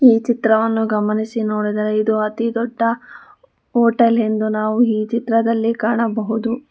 ಈ ಚಿತ್ರವನ್ನು ಗಮನಿಸಿ ನೋಡಿದರೆ ಇದು ಅತಿ ದೊಡ್ಡ ಹೋಟೆಲ್ ಎಂದು ನಾವು ಈ ಚಿತ್ರದಲ್ಲಿ ಕಾಣಬಹುದು.